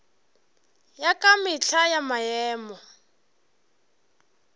ya ka mehla ya maemo